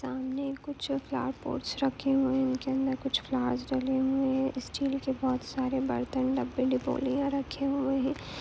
सामने कुछ flower pots रखे हुए हैं उनके अंदर कुछ फ्लॉवर्स डले हुई हैं स्टील के बहुत सारे बर्तन डब्बे डिबोलिया रखे हुए हैं।